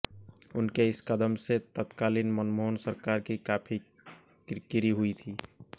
उनके इस कदम से तत्कालीन मनमोहन सरकार की काफी किरकिरी हुई थी